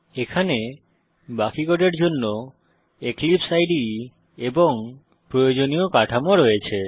এখানে বাকি কোডের জন্য এক্লিপসে ইদে এবং প্রয়োজনীয় কাঠামো রয়েছে